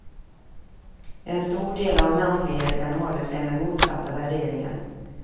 En stor del av mänskligheten håller sig med motsatta värderingar.